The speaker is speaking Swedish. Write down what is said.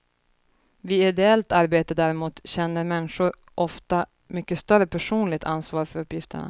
Vid ideellt arbete däremot känner människor ofta mycket större personligt ansvar för uppgifterna.